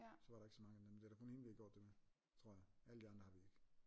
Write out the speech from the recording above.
Så var der ikke så mange nemlig det er da kun hende vi har gjort det med tror jeg alle de andre har vi ikke